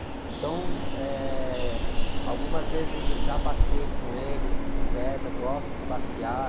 Então, eh, algumas vezes eu já passeei com eles de bicicleta, gosto de passear.